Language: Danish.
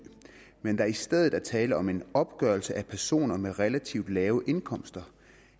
men der i stedet er tale om en opgørelse af personer med relativt lave indkomster